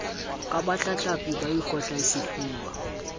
ke batlatlapi ba ikotlang sefuba